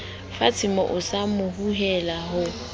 fatshemoo sa mo hulela ho